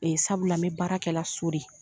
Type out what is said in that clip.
O ye sabula n bɛ baarakɛ la so de.